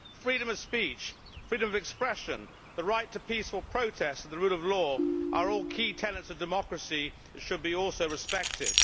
Freedom of speech, freedom of expression, the right to peaceful protest and the rule of law are all key tenets of democracy which should also be respected.